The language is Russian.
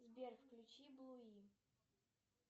сбер включи блуи